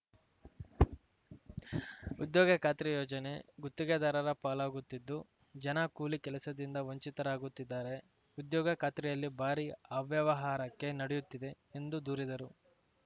ಉದ್ಯೋಗ ಖಾತ್ರಿ ಯೋಜನೆ ಗುತ್ತಿಗೆದಾರರ ಪಾಲಾಗುತ್ತಿದ್ದು ಜನ ಕೂಲಿ ಕೆಲಸದಿಂದ ವಂಚಿತರಾಗುತ್ತಿದ್ದಾರೆ ಉದ್ಯೋಗ ಖಾತ್ರಿಯಲ್ಲಿ ಭಾರಿ ಅವ್ಯವಹಾರಕ್ಕೆ ನಡೆಯುತ್ತಿದೆ ಎಂದು ದೂರಿದರು